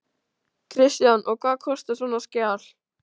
Kristján: Og hvað kostar svona skjal?